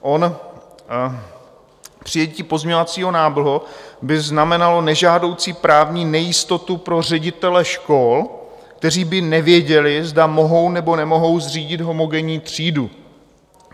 Přijetí pozměňovacího návrhu by znamenalo nežádoucí právní nejistotu pro ředitele škol, kteří by nevěděli, zda mohou, nebo nemohou zřídit homogenní třídu.